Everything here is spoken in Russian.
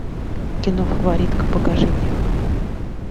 кино фаворитка покажи мне